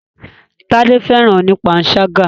Tádé fẹ́ràn oní panṣágà.